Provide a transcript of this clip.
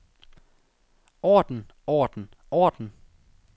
orden orden orden